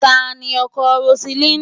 Ta ni ọkọ Roseline?